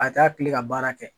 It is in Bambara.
A taa kilen ka baara kɛ.